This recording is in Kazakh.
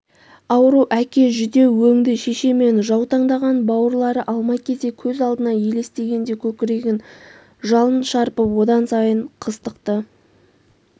ауру әке жүдеу өңді шеше мен жаутаңдаған бауырлары алма-кезек көз алдына елестегенде көкірегін жалын шарпып одан сайын қыстықты